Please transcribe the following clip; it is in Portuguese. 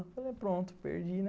Eu falei, pronto, perdi, né?